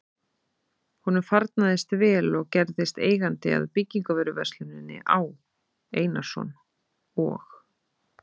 Honum farnaðist vel og gerðist eigandi að byggingarvöruversluninni Á. Einarsson og